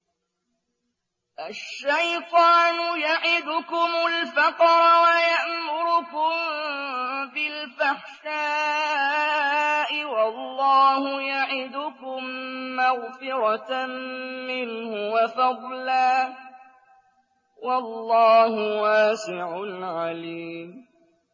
الشَّيْطَانُ يَعِدُكُمُ الْفَقْرَ وَيَأْمُرُكُم بِالْفَحْشَاءِ ۖ وَاللَّهُ يَعِدُكُم مَّغْفِرَةً مِّنْهُ وَفَضْلًا ۗ وَاللَّهُ وَاسِعٌ عَلِيمٌ